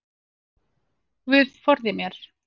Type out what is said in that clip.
Guð forði mér.